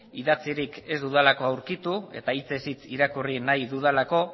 idatzirik ez dudalako aurkitu eta hitzez hitz irakurri nahi dudalako